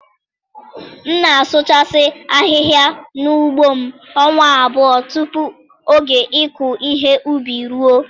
M na-asụchasị ahịhịa na ugbo m ọnwa abụọ tupu oge ịkụ ihe ubi e ruọ.